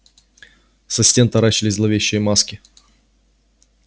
со стен таращились зловещие маски